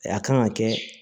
A kan ka kɛ